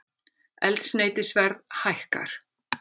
Eldsneytisverð hækkar